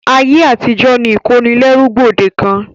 Ayé àtijó ni ìkónilẹ́rú gbòdekàn.